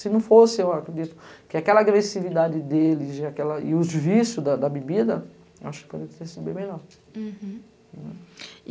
Se não fosse, eu acredito, que aquela agressividade deles e os vícios da bebida, eu acho que poderia ter sido bem melhor. Hurum.